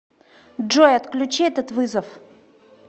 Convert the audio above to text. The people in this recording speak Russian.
джой отключи этот вызов